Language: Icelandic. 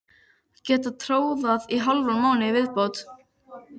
Get tórað í hálfan mánuð í viðbót.